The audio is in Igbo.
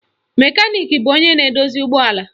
Mekaniki bụ onye na-edozi ụgbọala